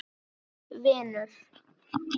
Minn vinur.